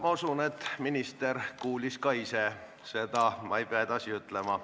Ma usun, et minister kuulis seda ka ise ja ma ei pea seda edasi ütlema.